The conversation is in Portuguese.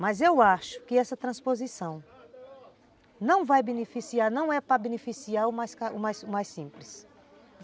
Mas eu acho que essa transposição não vai beneficiar, não é para beneficiar o mais o mais simples.